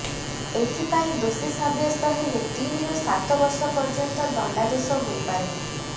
ଏଥିପାଇଁ ଦୋଷୀ ସାବ୍ୟସ୍ତ ହେଲେ ତିନିରୁ ସାତ ବର୍ଷ ପର୍ଯ୍ୟନ୍ତ ଦଣ୍ଡାଦେଶ ହୋଇପାରେ